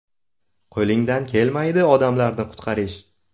Qo‘lingdan kelmaydi odamlarni qutqarish.